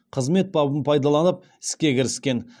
қызмет бабын пайдаланып іске кіріскен